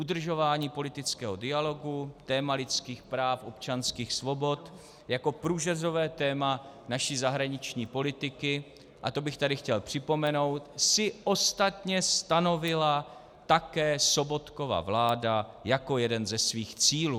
Udržování politického dialogu, téma lidských práv, občanských svobod jako průřezové téma naší zahraniční politiky, a to bych tady chtěl připomenout, si ostatně stanovila také Sobotkova vláda jako jeden ze svých cílů.